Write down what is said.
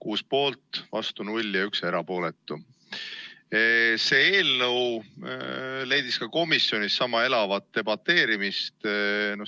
Selle eelnõu üle debateeriti ka komisjonis sama elavalt.